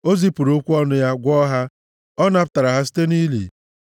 O zipụrụ okwu ọnụ ya, gwọọ ha; ọ napụtara ha site nʼili.